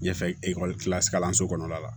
Ɲɛfɛ kilasi kalanso kɔnɔna la